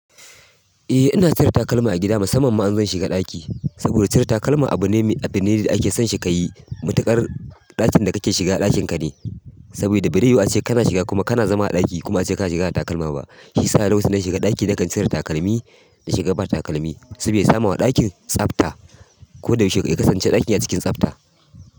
Eh ina cire takalma a gida musamman ma in zan shiga ɗaki. Saboda cire takalma abu ne mai abine da ake son shi ka yi. Matuƙar ɗakin da kake shiga ɗakin ka ne, saboda baraiyu ace kana shiga kuma kana zama a ɗaki kuma ace kana shiga da takalma ba. Shisa lokacin dana shiga ɗaki na kan cire takalmi na shiga ba takalmi. Sabida ya samu a ɗakin tsafta. Koda yaushe ya kasance ɗakin a cikin tsafta.